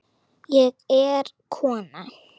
Ég er kona